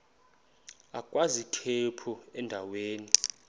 agwaz ikhephu endaweni